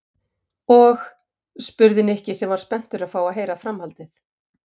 Og? spurði Nikki sem var spenntur að heyra framhaldið.